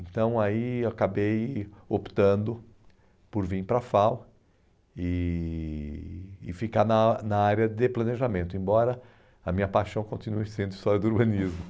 Então, aí eu acabei optando por vir para a FAU e e ficar na na área de planejamento, embora a minha paixão continue sendo história do urbanismo.